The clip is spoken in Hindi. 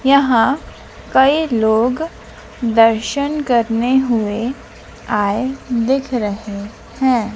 यहां कई लोग दर्शन करने हुए आए दिख रहे हैं।